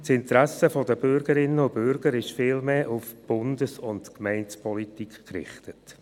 Das Interesse der Bürgerinnen und Bürger ist vielmehr auf die Bundes- und die Gemeindepolitik gerichtet.